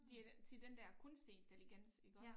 Det er til den dér kunstig intelligens iggås